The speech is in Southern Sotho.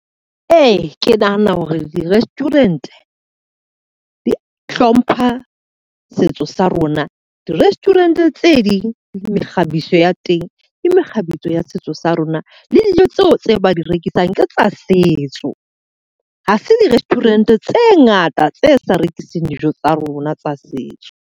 Ee, ke nahana hore di-restaurant di hlompha setso sa rona. Di-restaurant tse ding di mekgabiso ya teng, ke mekgabiso ya setso sa rona. Le dijo tseo tse ba di rekisang ke tsa setso. Ha se di-restaurant tse ngata tse sa rekiseng dijo tsa rona tsa setso.